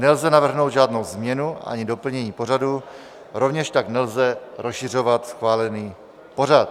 Nelze navrhnout žádnou změnu ani doplnění pořadu, rovněž tak nelze rozšiřovat schválený pořad.